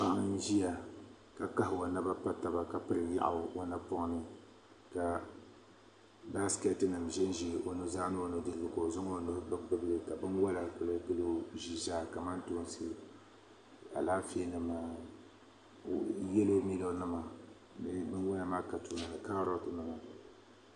Paɣa n ʒiya ka kahi o naba pa taba ka piri yaɣu o napoŋni ka baasikeeti nim ʒinʒi o nuzaa ni o nidirigu ka o zaŋ o nuhi gbubi gbubi li ka binwola kuli gili o ʒii zaa kamantoosi Alaafee nima yɛlo milo nima binwola maa ka tuuli ni kaaroti nima